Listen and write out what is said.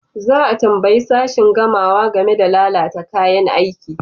Za a tambayi sashin gamawa game da lalata kayan aiki.